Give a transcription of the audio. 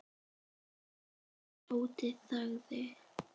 En Tóti þagði.